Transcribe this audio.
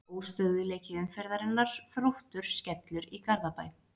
Óstöðugleiki umferðarinnar: Þróttur Skellur í Garðabæ.